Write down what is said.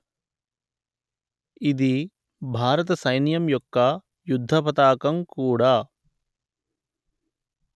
ఇది భారత సైన్యం యొక్క యుద్ధపతాకం కూడా